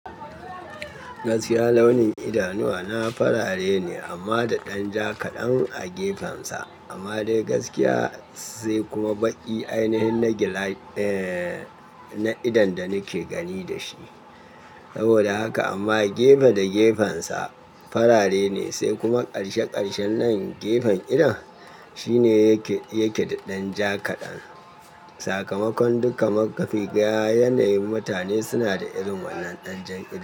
Gaskiya launin idanuwa na farare ne amma da ɗan ja kaɗan a gefensa. Amma dai gaskiya sai kuma baƙi ainihin na gila, eh, na idon da nake gani da shi. Saboda haka amma gefe da gefensa farare ne sai kuma ƙarshe ƙarshen nan gefen idon shine yake, yake da ɗan ja kaɗan. Sakamakon duka makafi ga yanayin mutane suna da irin wannan ɗanjar idon.